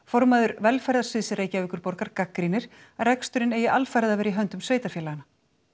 formaður velferðarsviðs Reykjavíkurborgar gagnrýnir að reksturinn eigi alfarið að vera í höndum sveitarfélaganna